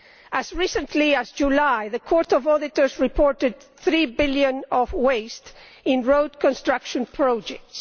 As recently as July, the Court of Auditors reported EUR 3 billion of waste in road construction projects.